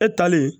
E talen